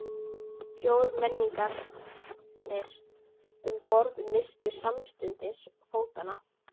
Fjórmenningarnir um borð misstu samstundis fótanna.